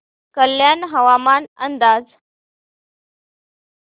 कल्याण हवामान अंदाज